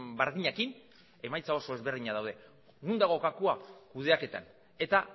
berdinekin emaitza oso ezberdinak daude non dago gakoa kudeaketan eta